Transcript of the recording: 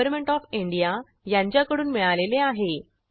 government of India यांच्याकडून मिळालेले आहे